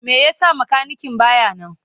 Me yasa makanikin baya nan?